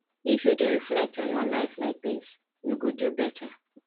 if you dey reflect on your life like dis you go do beta